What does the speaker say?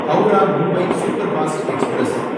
Howrah Mumbai superfast express